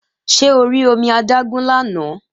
Ṣé o rí omi adágún lánàá?